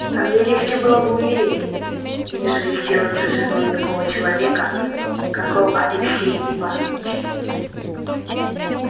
а мне легче было бы умереть нежели сделаться женою такого человека каков алексей иванович